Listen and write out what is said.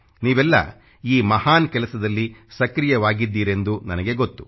ನೀವೆಲ್ಲ ಈ ಮಹಾನ್ ಕೆಲಸದಲ್ಲಿ ಸಕ್ರಿಯವಾಗಿದ್ದಿರೆಂದು ನನಗೆ ಗೊತ್ತು